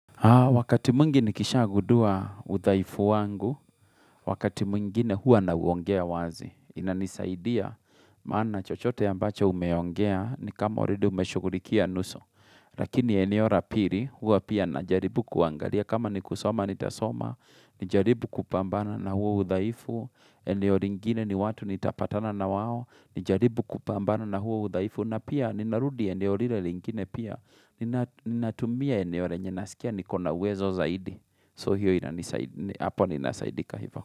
Ha, wakati mwingi nikisha gudua udhaifu wangu, wakati mwingine hua nauongea wazi, inanisaidia, maana chochote ambacho umeongea, ni kama oride umeshukulikia nusu, lakini eneo ra piri, hua pia najaribu kuangalia, kama ni kusoma nitasoma, nijaribu kupambana na huo udhaifu, eneo ringine ni watu nitapatana na wao, nijaribu kupambana na huo udhaifu, na pia ninarudi eneora ingine pia, Ninatumia eneo renye nasikia nikona wezo zaidi So hiyo inasaidika hivo.